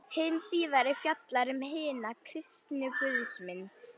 Hin síðari fjallar um hina kristnu guðsmynd.